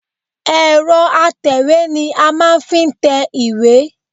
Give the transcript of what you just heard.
Ẹ̀rọ atẹ̀wé ni a máa ń fi tẹ iwé